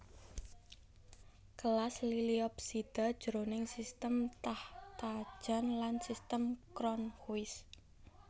Kelas Liliopsida jroning sistem Takhtajan lan sistem Cronquist